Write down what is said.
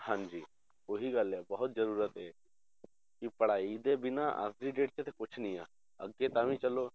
ਹਾਂਜੀ ਉਹੀ ਗੱਲ ਹੈ ਬਹੁਤ ਜ਼ਰੂਰਤ ਹੈ ਕਿ ਪੜ੍ਹਾਈ ਦੇ ਬਿਨਾਂ ਅੱਜ ਦੀ date 'ਚ ਤਾਂ ਕੁਛ ਨੀ ਆ, ਅੱਗੇ ਤਾਂ ਵੀ ਚਲੋ